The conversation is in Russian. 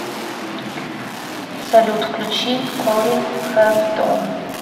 салют включи корин хэвторн